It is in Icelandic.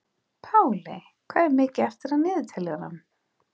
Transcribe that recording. Páley, hvað er mikið eftir af niðurteljaranum?